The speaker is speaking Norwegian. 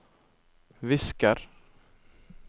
visker